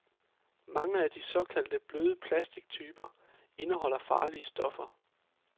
Mange af de såkaldt bløde plastictyper indeholder farlige stoffer.